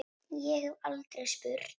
Ég hef aldrei spurt.